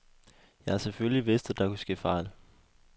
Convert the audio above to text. Jeg har selvfølgelig vidst, at der kunne ske fejl.